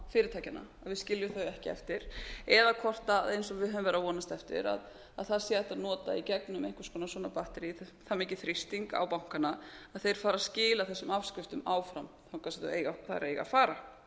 að við skiljum þau ekki eftir eða hvort eins og við höfum verið að vonast eftir að það sé hægt að nota í gegnum einhvers konar svona batterí það mikinn þrýsting á bankana að þeir fari að skila þessum afskriftum áfram þangað sem þær eiga